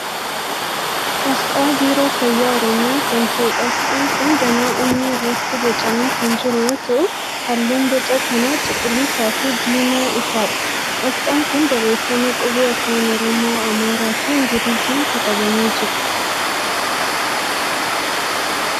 Asxaa Biiroo Fayyaa Oromiyaa kan ta'eedha. Asxaan kun danaa onnee irratti boocamee kan jiru yoo ta'u halluun booca kanaa cuquliisaafi diimaa ifaadha. Asxaan kun barreeffama qubee afaan Oromoo, Amaaraa fi Ingiliziin katabamee jira.